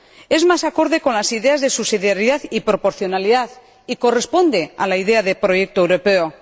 es más acorde con las ideas de subsidiariedad y proporcionalidad, y corresponde a la idea de proyecto europeo.